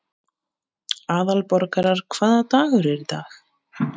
Aðalborgar, hvaða dagur er í dag?